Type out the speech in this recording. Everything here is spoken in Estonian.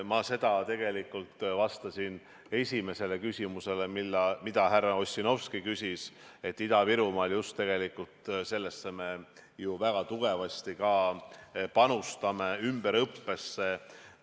Ma tegelikult vastasin esimesele küsimusele, mida härra Ossinovski küsis, et Ida-Virumaal just tegelikult sellesse me ju väga tugevasti ka panustame, ümberõppesse.